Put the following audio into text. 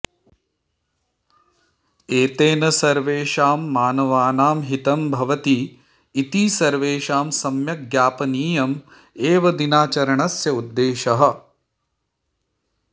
एतेन सर्वेषां मानवानां हितं भवति इति सर्वेषां सम्यक् ज्ञापनीयम् एव दिनाचरणस्य उद्देशः